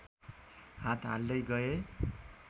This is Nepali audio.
हात हाल्दै गए